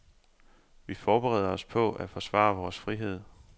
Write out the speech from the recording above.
Vi forbereder os på at forsvare vores frihed.